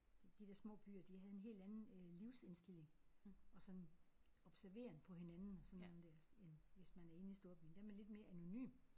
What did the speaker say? De de der små byer de havde en helt anden øh livsindstilling og sådan observeren på hinanden og sådan der end hvis man er inde i storbyen. Der er man lidt mere anonym